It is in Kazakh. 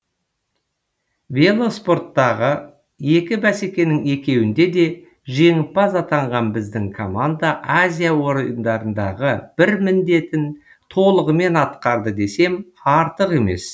велоспорттағы екі бәсекенің екеуінде де жеңімпаз атанған біздің команда азия ойындарындағы бір міндетін толығымен атқарды десем артық емес